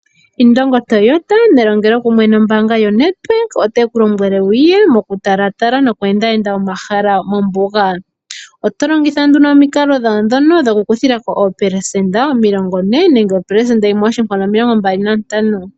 Indongo Toyota nelongelo kumwe nombanga yoNedbank oteku lombwele wuye noku talatala nookwendayenda omahala mombuga. Otolongitha nduno omikalo dhawo dhono okukuthilwako opelesenda omilongo ne nenge opelesenda omilongo mbali nantano.